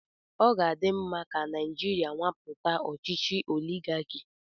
Ọ ga-adị mma ka Naijiria nwapụta ọchịchị oligaki.